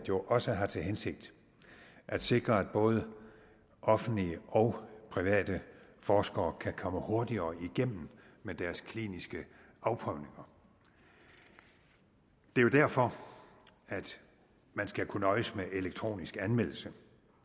jo også har til hensigt at sikre at både offentlige og private forskere kan komme hurtigere igennem med deres kliniske afprøvninger det er jo derfor at man skal kunne nøjes med elektronisk anmeldelse